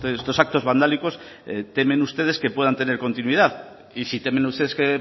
estos actos vandálicos temen ustedes que puedan tener continuidad y si temen ustedes que